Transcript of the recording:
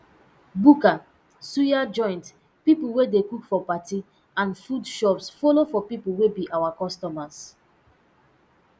buka suya joint pipo wey dey cook for party and food shops follo for pipo wey be our customers